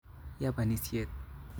Ya panisyet